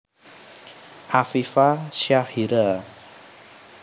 Afifa Syahira